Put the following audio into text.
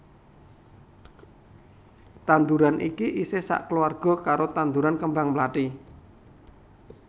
Tanduran iki isih sakeluwarga karo tanduran kembang mlathi